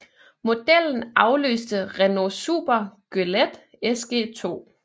Modellen afløste Renault Super Goélette SG2